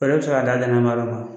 Fɛɛrɛ ti se ka da gɛnɛŋala la